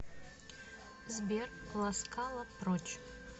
сбер ласкала прочь